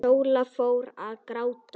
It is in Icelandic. Sóla fór að gráta.